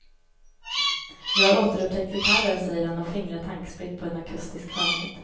Jag har återupptäckt gitarren, säger han och fingrar tankspritt på en akustisk skönhet.